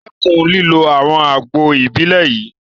Dẹ́kun lílo àwọn àgbo Ìbílẹ̀ yìí!